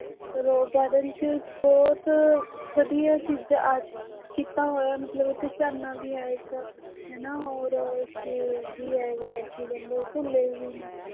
Rose garden ਵੀ ਬਹੁਤ ਵਧੀਆ ਜਿੱਦਾਂ ਕੀਤਾ ਹੋਇਆ ਮਤਲਬ ਉੱਥੇ ਝਰਨਾ ਵੀ ਹੈ ਇੱਕ ਹਨਾ ਔਰ ਉੱਥੇ ਵੀ ਹੈਗਾ ਕੀ ਕਹਿੰਦੇ ਝੂਲੇ ਵੀ ਨੇ।